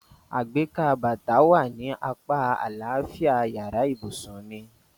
Àgbékà bàtà wà ní apá àlàáfíà yàrá ìbùsùn mi.